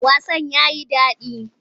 Wasan ya yi daɗi.